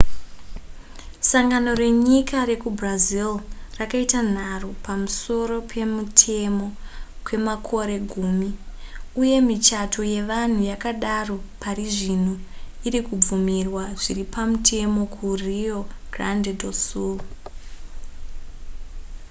sangano renyika rekubrazil rakaita nharo pamusoro pemutemo kwemakore gumi uye michato yevanhu yakadaro parizvino irikubvumirwa zviripamutemo ku rio grande do sul